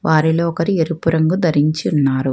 వారిలో ఒకరు ఎరుపు రంగు ధరించి ఉన్నారు.